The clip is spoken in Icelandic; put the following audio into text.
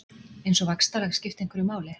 Eins og vaxtalag skipti einhverju máli.